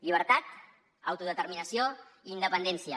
llibertat autodeterminació i independència